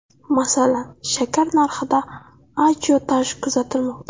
Masalan, shakar narxida ajiotaj kuzatilmoqda.